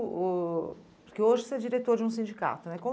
Porque hoje você é diretor de um sindicato, né?